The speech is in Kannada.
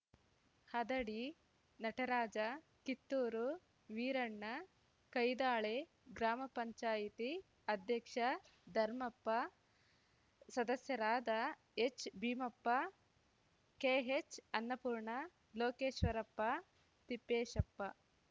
ಹದಡಿ ನಟರಾಜ ಕಿತ್ತೂರು ವೀರಣ್ಣ ಕೈದಾಳೆ ಗ್ರಾಮ ಪಂಚಾಯ್ತಿ ಅಧ್ಯಕ್ಷ ಧರ್ಮಪ್ಪ ಸದಸ್ಯರಾದ ಎಚ್‌ ಭೀಮಪ್ಪ ಕೆಹೆಚ್‌ಅನ್ನಪೂರ್ಣ ಲೋಕೇಶ್ವರಪ್ಪ ತಿಪ್ಪೇಶಪ್ಪ